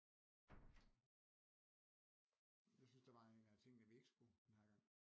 Jeg synes der var en af tingene vi ikke skulle den her gang